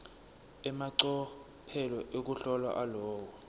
emacophelo ekuhlola alowo